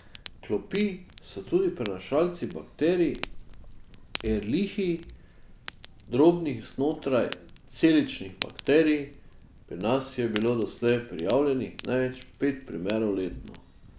Klopi so tudi prenašalci bakterij erlihij, drobnih znotraj celičnih bakterij, pri nas je bilo doslej prijavljenih največ pet primerov letno.